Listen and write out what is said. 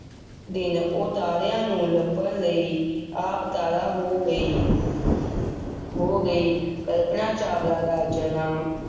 ਦਿਨ ਉਹ ਤਾਰਿਆਂ ਨੂੰ ਲੱਭਣ ਲਈ ਆਪ ਤਾਰਾ ਹੋ ਗਈ ਹੋ ਗਈ, ਕਲਪਨਾ ਚਾਵਲਾ ਦਾ ਜਨਮ,